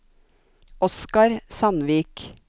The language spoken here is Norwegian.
Oscar Sandvik